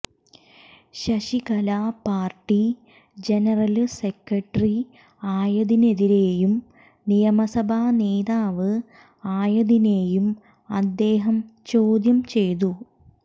Sasikala party general secretary ആയതിനെതിരെയും നിയമസഭ നേതാവ് ആയതിനെയും അദ്ദേഹം ചോദ്യം ചെയ്തു